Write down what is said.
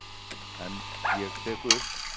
En ég tek upp.